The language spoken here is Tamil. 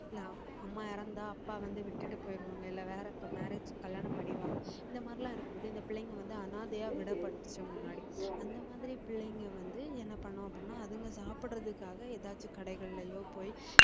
இல்ல அப்~ அம்மா இறந்தா அப்பா வந்து விட்டுட்டு போயிடுவாங்க இல்ல வேற marriage கல்யாணம் பண்ணிருவாங்க இந்த மாதிரி எல்லாம் இருக்கும்போது இந்த பிள்ளைங்க வந்து அனாதையா முன்னாடி அந்த மாதிரி பிள்ளைங்க வந்து என்ன பண்ணும் அப்படின்னா அதுங்க சாப்பிடுறதுக்காக ஏதாச்சு கடைகள்லயோ போய்